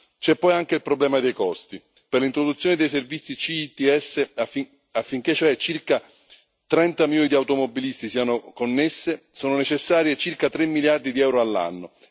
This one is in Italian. C'è poi anche il problema dei costi per l'introduzione dei servizi C ITS, affinché cioè circa 30 milioni di automobilisti siano connessi, sono necessari circa tre miliardi di euro all'anno.